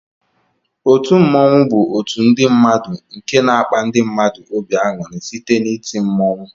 Otu mmụọnwu bu otu ndi mmadu nke na akpa ndi mmadu obi anyụri site na iti mmụọnwụ.